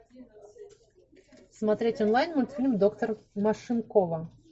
смотреть онлайн мультфильм доктор машинкова